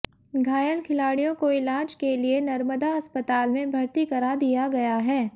घायल खिलाड़ियों को इलाज के लिए नर्मदा अस्पताल में भर्ती करा दिया गया है